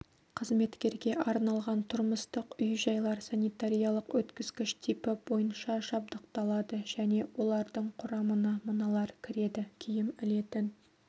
қызметкерге арналған тұрмыстық үй-жайлар санитариялық өткізгіш типі бойынша жабдықталады және олардың құрамына мыналар кіреді киім ілетін